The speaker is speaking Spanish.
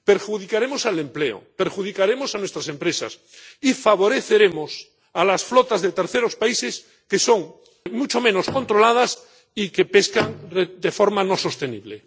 Perjudicaremos al empleo, perjudicaremos a nuestras empresas y favoreceremos a las flotas de terceros países, que están mucho menos controladas y que pescan de forma no sostenible